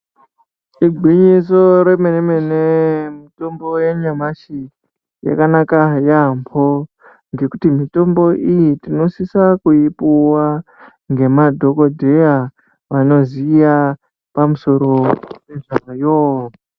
Gwinyiso remene-mene mitombo yanyamashi yakanaka yaambo. Ngekuti mitombo iyi tinosisa kuipuva ngemadhogodheya vanoziya pamusoro pezvayo.